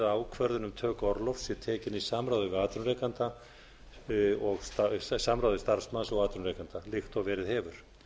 ákvörðun um töku orlofs sé tekin í samráði starfsmanns og atvinnurekanda líkt og verið hefur